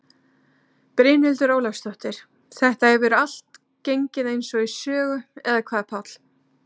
Brynhildur Ólafsdóttir: Þetta hefur allt gengið eins og í sögu eða hvað Páll?